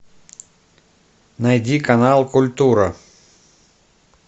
найди канал культура